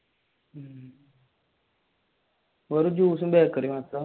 or juice ഉം ബേക്കറിയും